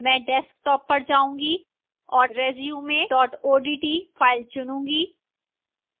मैं desktop पर जाऊंगी और resume odt फाइल चुनूंगी